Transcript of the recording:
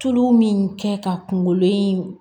Tulu min kɛ ka kunkolo in